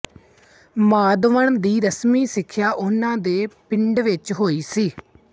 ਮਾਧਵਨ ਦੀ ਰਸਮੀ ਸਿੱਖਿਆ ਉਹਨਾਂ ਦੇ ਪਿੰਡ ਵਿੱਚ ਹੀ ਹੋਈ ਸੀ